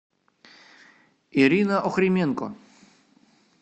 ирина охрименко